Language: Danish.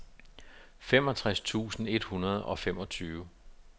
femogtres tusind et hundrede og femogfyrre